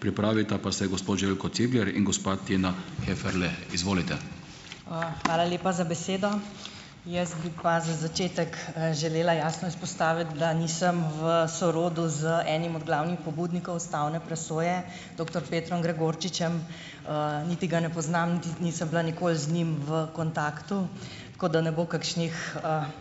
Pripravita pa se gospod Željko Cigler in gospa Tina Heferle. Izvolite. hvala lepa za besedo. Jaz bi pa za začetek želela jasno izpostaviti, da nisem v sorodu z enim od glavnem pobudnikov ustavne presoje, doktor Petrom Gregorčičem, niti ga ne poznam, niti nisem bila nikoli z njim v kontaktu, tako da ne bo kakšnih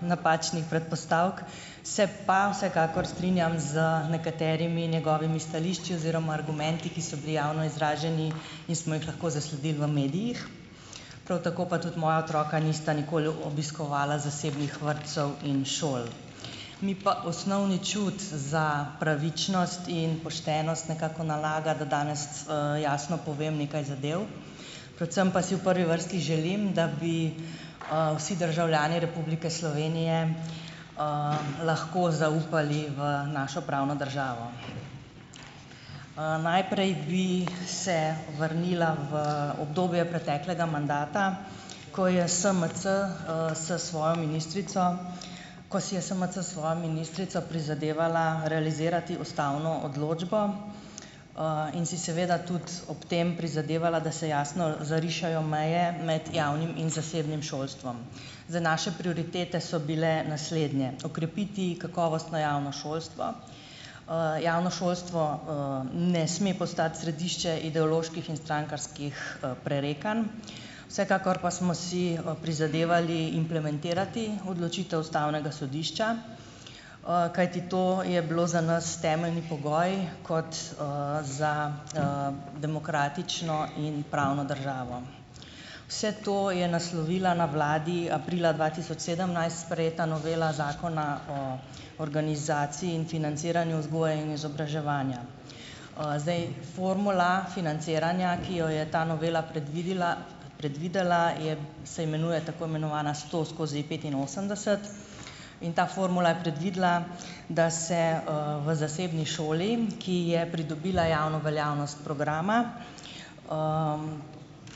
napačnih predpostavk. Se pa vsekakor strinjam z nekaterimi njegovimi stališči oziroma argumenti , ki so bili javno izraženi in smo jih lahko zasledili v medijih. Prav tako pa tudi moja otroka nista nikoli obiskovala zasebnih vrtcev in šol . Mi pa osnovni čut za pravičnost in poštenost nekako nalaga, da danes jasno povem nekaj zadev, predvsem pa si v prvi vrsti želim, da bi vsi državljani Republike Slovenije lahko zaupali v našo pravno državo. najprej bi se vrnila v obdobje preteklega mandata, ko je SMC s svojo ministrico, ko si je SMC s svojo ministrico prizadevala realizirati ustavno odločbo in si seveda tudi ob tem prizadevala, da se jasno zarišejo meje med javnim in zasebnim šolstvom. Za naše prioritete so bile naslednje: okrepiti kakovostno javno šolstvo, javno šolstvo ne sme postati središče ideoloških in strankarskih prerekanj, vsekakor pa smo si prizadevali implementirati odločitev Ustavnega sodišča, kajti to je bilo za nas temeljni pogoj kot za demokratično in pravno državo. Vse to je naslovila na vladi aprila dva tisoč sedemnajst sprejeta novela Zakona o organizaciji in financiranju vzgoje in izobraževanja. zdaj, formula financiranja, ki jo je ta novela predvidila, predvidela, je, se imenuje tako imenovana sto skozi petinosemdeset, in ta formula je predvidela, da se v zasebni šoli, ki je pridobila javno veljavnost programa,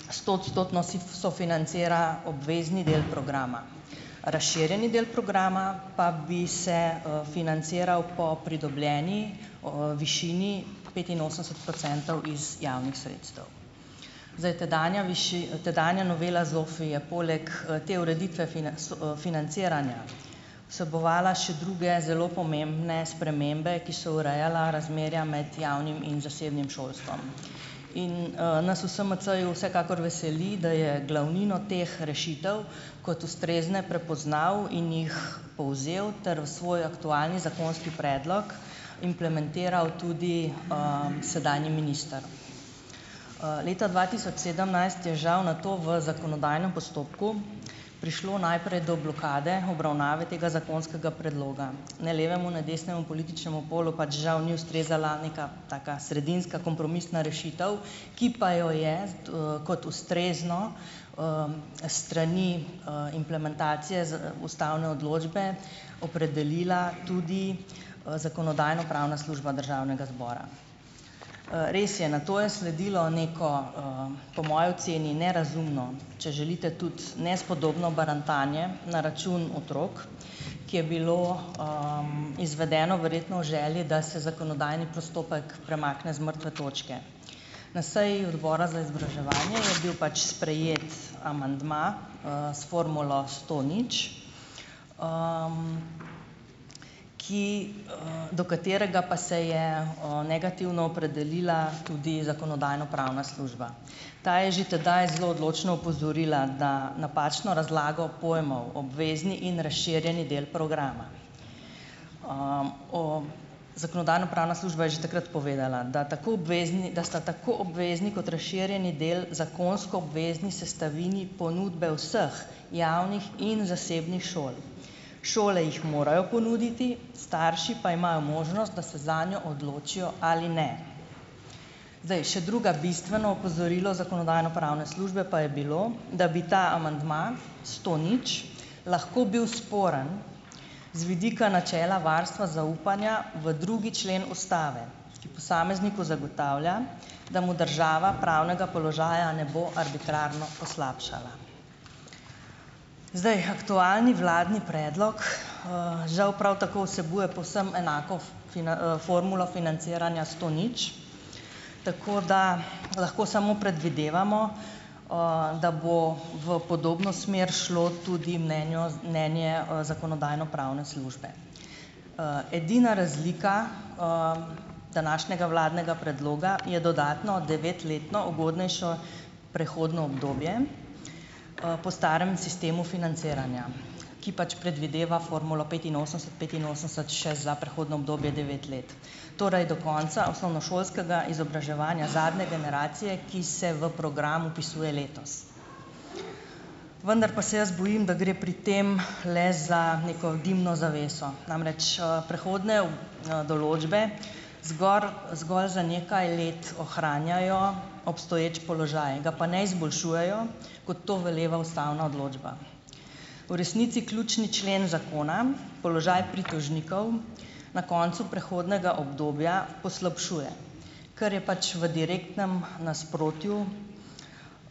stoodstotno sofinancira obvezni del programa. Razširjeni del programa pa bi se financiral po pridobljeni o višini petinosemdeset procentov iz javnih sredstev. Zdaj, tedanja tedanja novela ZOFI je poleg te ureditve financiranja vsebovala še druge zelo pomembne spremembe, ki so urejala razmerja med javnim in zasebnim šolstvom . In, nas v SMC-ju vsekakor veseli, da je glavnino teh rešitev kot ustrezne prepoznal in jih povzel ter v svoj aktualni zakonski predlog implementiral tudi sedanji minister. leta dva tisoč sedemnajst je žal na to v zakonodajnem postopku prišlo najprej do blokade obravnave tega zakonskega predloga. Ne levemu ne desnemu političnemu polju pač žal ni ustrezala neka taka sredinska kompromisna rešitev, ki pa jo je kot ustrezno strani implementacije z ustavne odločbe opredelila tudi Zakonodajno-pravna služba Državnega zbora. res je, nato je sledilo neko, po moji oceni nerazumno, če želite tudi nespodobno barantanje na račun otrok, ki je bilo izvedeno verjetno v želji, da se zakonodajni postopek premakne z mrtve točke. Na seji Odbora za izobraževanje je bil pač sprejet amandma s formulo sto nič, ki, do katerega pa se je negativno opredelila tudi Zakonodajno-pravna služba. Ta je že tedaj zelo odločno opozorila, da napačno razlago pojmov obvezni in razširjeni del programa. o, Zakonodajno-pravna služba je že takrat povedala, da tako obvezni, da sta tako obvezni kot razširjeni del zakonsko obvezni sestavini ponudbe vseh javnih in zasebnih šol. Šole jih morajo ponuditi, starši pa imajo možnost, da se zanjo odločijo ali ne. Zdaj, še druga bistveno opozorilo Zakonodajno-pravne službe pa je bilo, da bi ta amandma sto nič lahko bil sporen z vidika načela varstva zaupanja v drugi člen Ustave, ki posamezniku zagotavlja, da mu država pravnega položaja ne bo arbitrarno poslabšala . Zdaj, aktualni vladni predlog žal prav tako vsebuje povsem enako formulo financiranja sto nič, tako da lahko samo predvidevamo, da bo v podobno smer šlo tudi mnenje Zakonodajno-pravne službe. edina razlika, današnjega vladnega predloga je dodatno devetletno ugodnejše prehodno obdobje po starem sistemu financiranja, ki pač predvideva formulo petinosemdeset petinosemdeset še za prehodno obdobje devet let. Torej do konca osnovnošolskega izobraževanja zadnje generacije , ki se v program vpisuje letos. Vendar pa se jaz bojim, da gre pri tem le za neko intimno zaveso. Namreč prehodne določbe zgolj za nekaj let ohranjajo obstoječi položaj. Ga pa ne izboljšujejo, kot to veleva ustavna odločba. V resnici ključni člen zakona položaj pritožnikov na koncu prehodnega obdobja poslabšuje. Kar je pač v direktnem nasprotju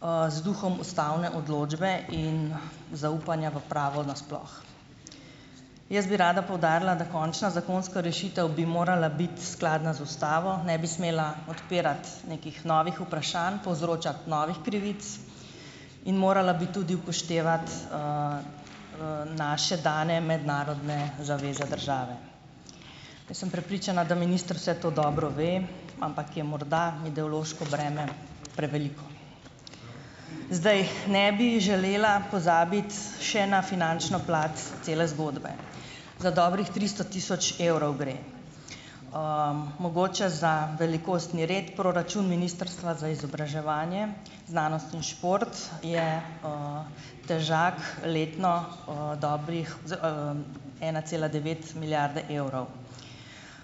z duhom ustavne odločbe in zaupanja v pravo nasploh. Jaz bi rada poudarila, da končna zakonska rešitev bi morala biti skladna z Ustavo, ne bi smela odpirati nekih novih vprašanj, povzročati novih krivic in morala bi tudi upoštevati naše dane mednarodne zaveze države . Jaz sem prepričana, da minister vse to dobro ve, ampak je morda ideološko breme preveliko. Zdaj, ne bi želela pozabiti še na finančno plat cele zgodbe. Za dobrih tristo tisoč evrov gre. mogoče za velikostni red, proračun Ministrstva za izobraževanje, znanost in šport je težak letno dobrih ena cela devet milijarde evrov.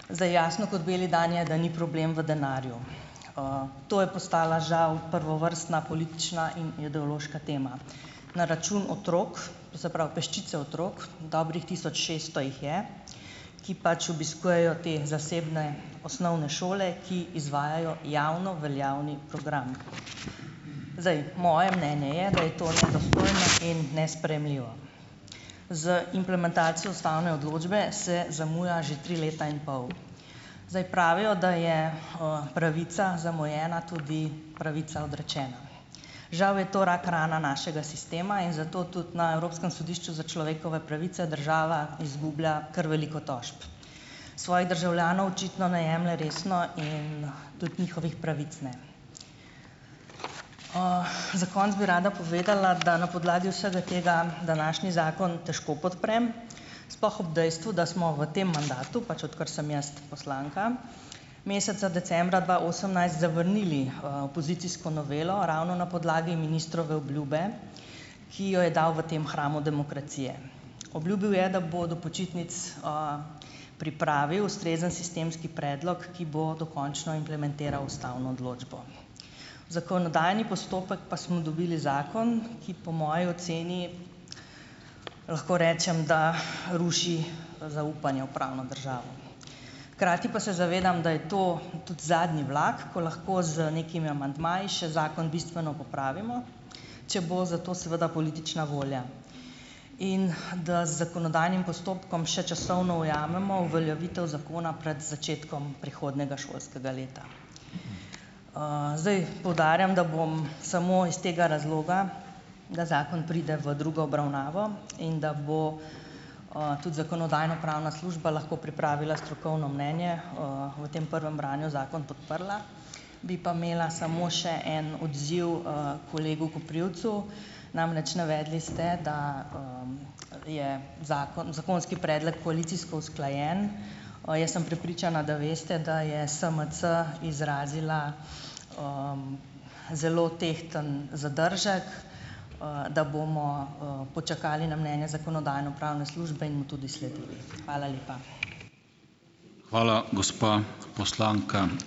Zdaj, jasno kot beli dan je, da ni problem v denarju. to je postala žal prvovrstna politična in ideološka tema. Na račun otrok, to se pravi peščice otrok, dobrih tisoč šeststo jih je, ki pač obiskujejo te zasebne osnovne šole, ki izvajajo javno veljavni program. Zdaj, moje mnenje je, da je to nedostojno in nesprejemljivo. Z implementacijo ustavne odločbe se zamuja že tri leta in pol. Zdaj, pravijo, da je pravica zamujena tudi pravica odrečena. Žal je to rak rana našega sistema in zato tudi na Evropskem sodišču za človekove pravice država izgublja kar veliko tožb. Svojih državljanov očitno ne jemlje resno in tudi njihovih pravic . za konec bi rada povedala, da na podlagi vsega tega današnji zakon težko podprem, sploh ob dejstvu, da smo v tem mandatu , pač odkar sem jaz poslanka, meseca decembra dva osemnajst zavrnili opozicijsko novelo, ravno na podlagi ministrove obljube, ki jo je dal v tem hramu demokracije. Obljubil je, da bo do počitnic pripravil ustrezen sistemski predlog, ki bo dokončno implementiral ustavno odločbo. V zakonodajni postopek pa smo dobili zakon, ki po moji oceni, lahko rečem, da ruši zaupanje v pravno državo. Hkrati pa se zavedam, da je to tudi zadnji vlak, ko lahko z nekimi amandmaji še zakon bistveno popravimo, če bo za to seveda politična volja. In da z zakonodajnim postopkom še časovno ujamemo uveljavitev zakona pred začetkom prihodnjega šolskega leta. zdaj poudarjam, da bom samo iz tega razloga, da zakon pride v drugo obravnavo in da bo tudi Zakonodajno-pravna služba lahko pripravila strokovno mnenje v tem prvem branju zakon podprla. Bi pa imela samo še en odziv kolegu Koprivcu. Namreč, navedli ste, da je zakon, zakonski predlog koalicijsko usklajen. jaz sem prepričana, da veste, da je SMC izrazila zelo tehten zadržek, da bomo počakali na mnenje Zakonodajno-pravne službe in mu tudi sledili. Hvala lepa.